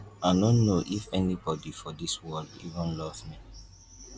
i no know if anybody for dis world even love me.